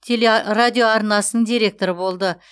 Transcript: телерадиоарнасының директоры болды